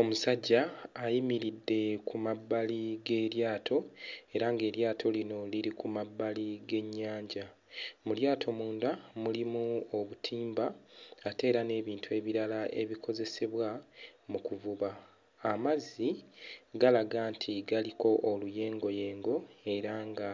Omusajja ayimiridde ku mabbali g'eryato era ng'eryato lino liri ku mabbali g'ennyanja. Mu lyato munda mulimu obutimba ate era n'ebintu ebirala ebikozesebwa mu kuvuba; amazzi galaga nti galiko oluyengoyenge era nga